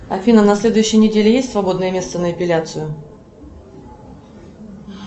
афина на следующей неделе есть свободное место на эпиляцию